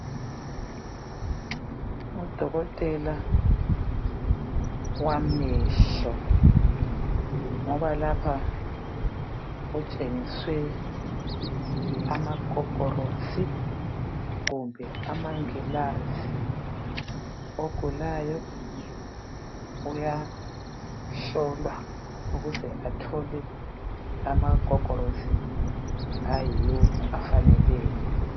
u dokotela wamehlo ngoba lapha kutshengiswe amagogorosi kumbe amangilazi ogulayo uyahlolwa ukuze athole amagogorosi ayiwo afaneleyo